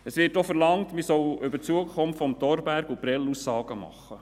Es wird auch verlangt, man solle über die Zukunft von Thorberg und Prêles Aussagen machen.